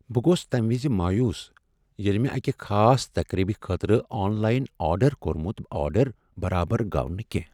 بہٕ گوس تَمِہ وِز مایوس ییٚلِہ مےٚ اَکِہ خاص تقرِیبِہ خٲطرٕ آن لایِن آرڈر کورمُت آرڈر برابر گوو نہٕ کینٛہہ ۔